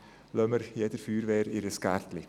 Lassen wir jeder Feuerwehr ihr Gärtchen!